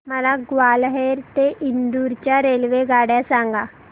मला ग्वाल्हेर ते इंदूर च्या रेल्वेगाड्या सांगा